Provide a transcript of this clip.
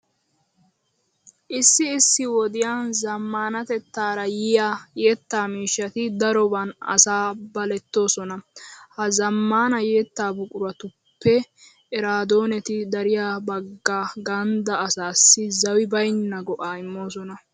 Issi issi wodiya zammaanatettaara yiya yettaa miishshati daroban asaa balettoosona. Ha zammaana yettaa buquratuppe eraadooneti dariya bagga ganddaa asaasi zawi baynna go"aa immoosona.